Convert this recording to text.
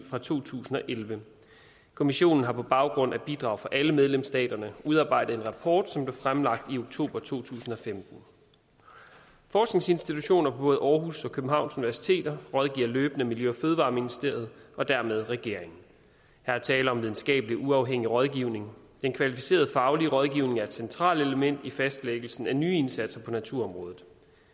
fra to tusind og elleve kommissionen har på baggrund af bidrag fra alle medlemsstaterne udarbejdet en rapport som blev fremlagt i oktober to tusind og femten forskningsinstitutioner på både aarhus universitet og københavns universitet rådgiver løbende miljø og fødevareministeriet og dermed regeringen her er tale om videnskabelig uafhængig rådgivning den kvalificerede faglige rådgivning er et centralt element i fastlæggelsen af nye indsatser på naturområdet